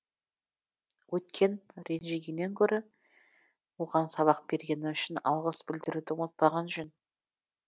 өткен ренжігеннен гөрі оған сабақ бергені үшін алғыс білдіруді ұмытпаған жөн